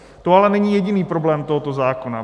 To ale není jediný problém tohoto zákona.